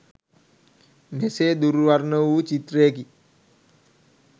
මෙසේ දුර් වර්ණ වූ චිත්‍රයකි.